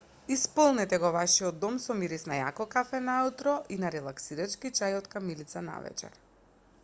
исполнете го вашиот дом со мирис на јако кафе наутро и на релаксирачки чај од камилица навечер